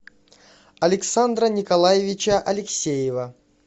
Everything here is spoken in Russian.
александра николаевича алексеева